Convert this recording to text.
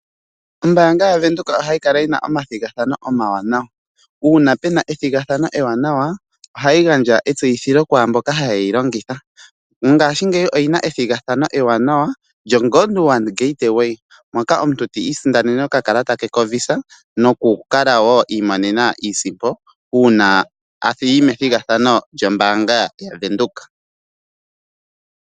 Ombaanga ya Windhoek ohayi kala yina omathigathano omawanawa, uuna pena ethigathano ewanawa ohayi gandja etseyithilo kwaamboka haye yi longitha. Mongashingeyi oyina ethigathano eewanawa lyo Godwana gateway moka omuntu ti isindanene oka kalata ke ko visa noku kala wo imonene a iisimpo uuna apiti methigathano lyo mbaanga yavenduka.